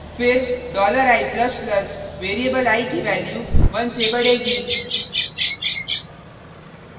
फिर $i++ variable i की value 1 से बढेगी